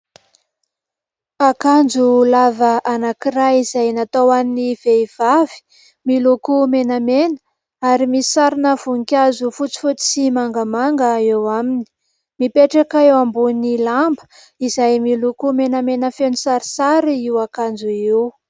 Akanjo lava anankiray izay natao ho an'ny vehivavy, miloko menamena ary misy sary voninkazo fotsifotsy sy mangamanga eo aminy. Mipetraka eo ambony lamba izay miloko menamena feno sarisary io akanjo io.